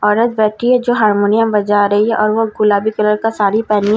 औरत बैठी हैं जो हारमोनियम बजा रही हैं और वो गुलाबी कलर का साड़ी पेहनी हैं --